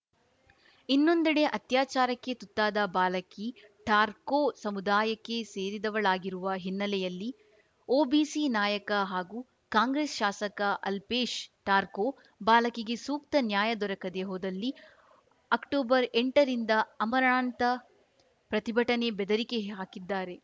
ಇನ್ನೊಂದೆಡೆ ಅತ್ಯಾಚಾರಕ್ಕೆ ತುತ್ತಾದ ಬಾಲಕಿ ಠಾರ್ಕೋ ಸಮುದಾಯಕ್ಕೆ ಸೇರಿದವಳಾಗಿರುವ ಹಿನ್ನೆಲೆಯಲ್ಲಿ ಒಬಿಸಿ ನಾಯಕ ಹಾಗೂ ಕಾಂಗ್ರೆಸ್‌ ಶಾಸಕ ಅಲ್ಪೇಶ್‌ ಠಾರ್ಕೋ ಬಾಲಕಿಗೆ ಸೂಕ್ತ ನ್ಯಾಯ ದೊರಕದೇ ಹೋದಲ್ಲಿ ಅಕ್ಟೋಬರ್ಎಂಟರಿಂದ ಆಮರಣಾಂತ ಪ್ರತಿಭಟನೆ ಬೆದರಿಕೆ ಹಾಕಿದ್ದಾರೆ